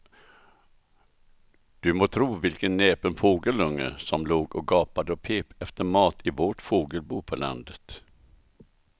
Du må tro vilken näpen fågelunge som låg och gapade och pep efter mat i vårt fågelbo på landet.